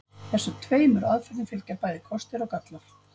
Þessum tveimur aðferðum fylgja bæði kostir og gallar.